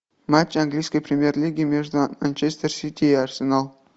матч английской премьер лиги между манчестер сити и арсенал